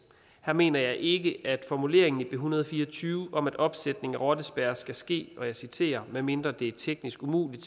her mener jeg ikke at formuleringen i en hundrede og fire og tyve om at opsætningen af rottespærrer skal ske og jeg citerer medmindre det er teknisk umuligt